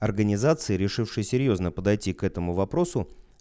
организации решивший серьёзно подойти к этому вопросу